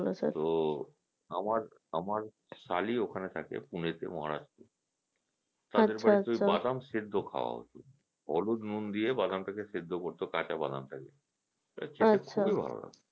তো আমার আমার শালি ওখানে থাকে পুনে তে Maharashtra এ তো ওখানে বাদাম সেদ্ধ খাওয়া হতো অল্প নুন দিয়ে বাদাম টা কে সেদ্ধ করতো কাঁচা বাদাম কে খেতে খুবি ভালো লাগতো